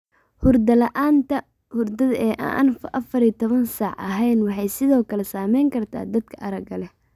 Hurdo la'aanta hurdada ee aan afar iyo labatan saac ahayn waxay sidoo kale saameyn kartaa dadka aragga leh.